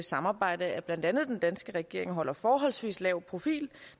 samarbejde at blandt andet den danske regering holder forholdsvis lav profil